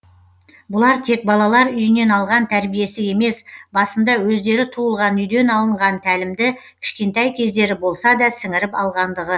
бұлар тек балалар үйінен алған тәрбиесі емес басында өздері туылған үйден алынған тәлімді кішкентай кездері болсада сіңіріп алғандығы